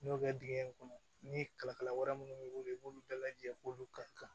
N y'o kɛ dingɛn in kɔnɔ ni kalakala wɛrɛ minnu b'i bolo i b'olu bɛɛ lajɛ k'olu ka kan